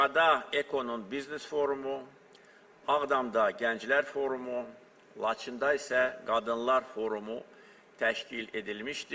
Şuşada EKO-nun biznes forumu, Ağdamda Gənclər Forumu, Laçında isə Qadınlar Forumu təşkil edilmişdir.